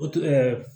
O tun ɛɛ